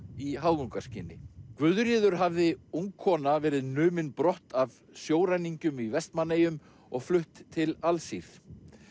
í háðungarskyni Guðríður hafði ung kona verið numin brott af sjóræningjum í Vestmannaeyjum og flutt til Alsír